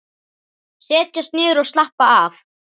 Setjast niður og slappa af.